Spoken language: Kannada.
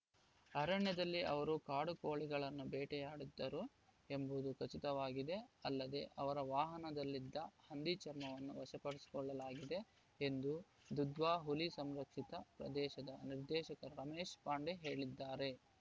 ಅರಣ್ಯದಲ್ಲಿ ಅವರು ಕಾಡುಕೋಳಿಗಳನ್ನು ಬೇಟೆಯಾಡಿದ್ದಾರು ಎಂಬುದು ಖಚಿತವಾಗಿದೆ ಅಲ್ಲದೆ ಅವರ ವಾಹನದಲ್ಲಿದ್ದ ಹಂದಿ ಚರ್ಮವನ್ನು ವಶಪಡಿಸಿಕೊಳ್ಳಲಾಗಿದೆ ಎಂದು ದುಧ್ವಾ ಹುಲಿ ಸಂರಕ್ಷಿತ ಪ್ರದೇಶದ ನಿರ್ದೇಶಕ ರಮೇಶ್‌ ಪಾಂಡೆ ಹೇಳಿದ್ದಾರೆ